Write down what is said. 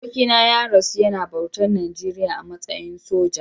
Abokina ya rasu yana bautar Najeriya a matsayin soja.